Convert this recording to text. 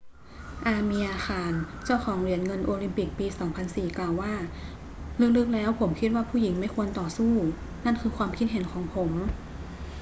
อาเมียร์ ข่าน เจ้าของเหรียญเงินโอลิมปิกปี 2004 กล่าวว่า ลึก ๆ แล้วผมคิดว่าผู้หญิงไม่ควรต่อสู้ นั่นคือความคิดเห็นของผม